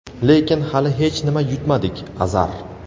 lekin hali hech nima yutmadik — Azar;.